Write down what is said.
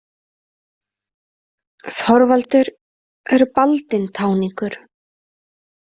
Þorvaldur er baldinn táningur.